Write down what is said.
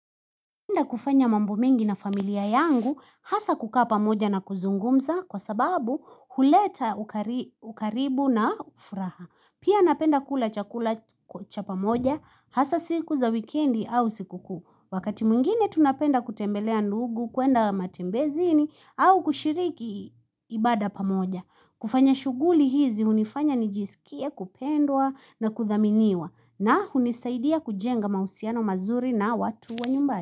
Tumeenda kufanya mambo mingi na familia yangu hasa kukaa pamoja na kuzungumza kwa sababu huleta uka ukaribu na furaha. Pia napenda kula chakula cha pamoja hasa siku za wikendi au siku kuu. Wakati mwingine tunapenda kutembelea ndugu, kuenda matembezini au kushiriki ibada pamoja. Kufanya shughuli hizi hunifanya nijisikie kupendwa na kuthaminiwa na hunisaidia kujenga mausiano mazuri na watu wa nyumbari.